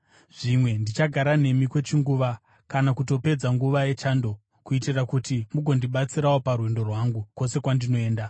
Zvimwe ndichagara nemi kwechinguva, kana kutopedza nguva yechando, kuitira kuti mugondibatsirawo parwendo rwangu, kwose kwandinoenda.